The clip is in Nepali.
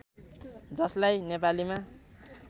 जसलाई नेपालीमा